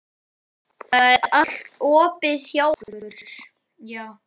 Það er allt opið hjá okkur.